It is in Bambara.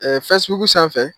Facebook sanfɛ